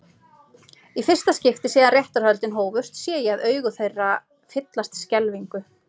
Í fyrsta skipti síðan réttarhöldin hófust sé ég augu þeirra fyllast skelfingu.